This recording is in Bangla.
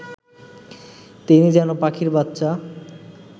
তিনি যেন পাখির বাচ্চা